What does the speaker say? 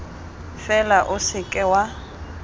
fela o se ka wa